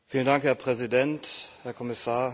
Herr Präsident, Herr Kommissar!